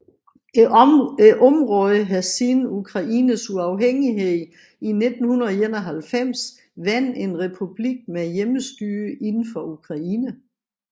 Området har siden Ukraines uafhængighed i 1991 været en republik med hjemmestyre inden for Ukraine